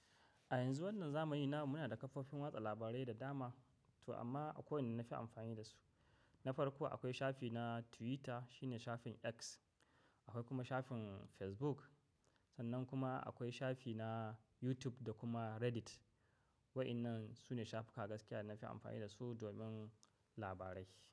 A yanzu wannan zamani namu muna da kafofin watsa labarai da dama. To amma, akwai wanda nafi amfani da su, na farko akwai shafi na Twitter shine shafin X, akwai kuma shafin Facebook. Sannan kuma akwai shafi na YouTube da kuma Reddit. Wa'inan su ne shafuka gaskiya na fi amfani da su domin labarai.